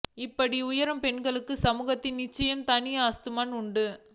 இப்படி உயரும் பெண்களுக்கு சமூகத்தில் நிச்சயம் தனி அந்தஸ்து உண்டு